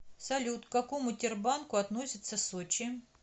салют к какому тербанку относится сочи